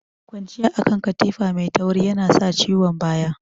Kwanciya akan katifa mai tauri yana sa ciwon baya.